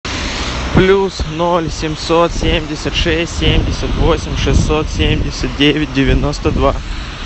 плюс ноль семьсот семьдесят шесть семьдесят восемь шестьсот семьдесят девять девяносто два